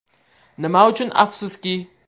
Nima uchun afsuski?